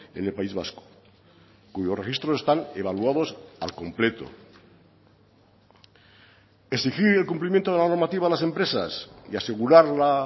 en el país vasco cuyos registros están evaluados al completo exigir el cumplimiento de la normativa a las empresas y asegurar la